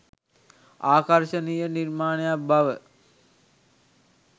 ආකර්ශනීය නිර්මාණයක් බව